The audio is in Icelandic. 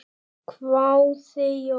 hváði Jón.